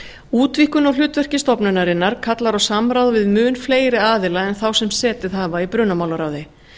útvíkkun á hlutverki stofnunarinnar kallar á samráð við mun fleiri aðila en þá sem setið hafa í brunamálaráði